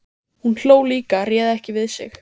Hún hló líka, réð ekki við sig.